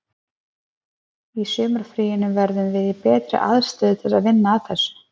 Í sumarfríinu verðum við í betri aðstöðu til þess að vinna að þessu.